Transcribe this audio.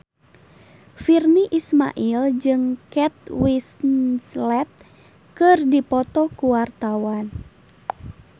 Virnie Ismail jeung Kate Winslet keur dipoto ku wartawan